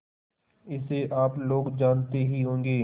इसे आप लोग जानते ही होंगे